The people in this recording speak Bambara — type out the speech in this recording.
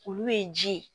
Olu ye ji ye